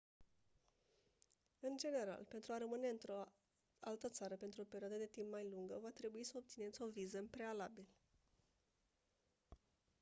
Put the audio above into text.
în general pentru a rămâne într-o altă țară pentru o perioadă de timp mai lungă va trebui să obțineți o viză în prealabil